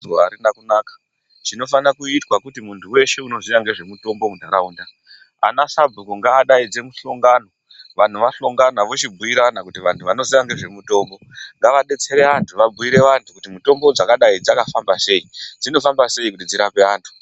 Guwa harina kunaka. Chinofanira kuitwa kuti muntu weshe unoziva ngezvemitombo muntaraunda, ana sabhuku ngavadaidze mihlongano, vantu vahlongana vochibhuyirana kuti vantu vanoziva ngezvemitombo ngavadetsere vantu, vabhuyire vantu kuti mitombo dzakadai dzakafamba sei, dzinofamba sei kuti dzirape vantu.